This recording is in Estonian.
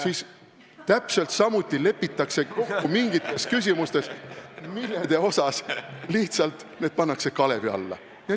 ... siis täpselt samuti lepitakse kokku mingites küsimustes, millest osa lihtsalt pannakse kalevi alla.